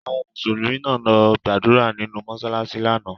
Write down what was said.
Àwọn Mùsùlùmí náà lọ gbàdúrà nìnu mọsalasi lánàá.